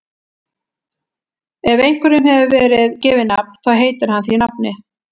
Ef einhverjum hefur verið gefið nafn þá heitir hann því nafni.